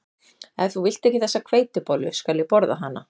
Ef þú vilt ekki þessa hveitibollu skal ég borða hana